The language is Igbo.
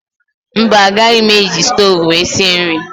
Mba agaghị m eji stoovú wee sie nri